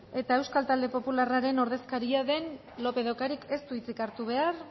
eta euskal talde popularraren ordezkaria den lópez de ocariz ez du hitzik hartu behar